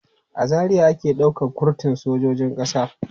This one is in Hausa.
A Zaria ake ɗaukan kurtun sojojin ƙasa.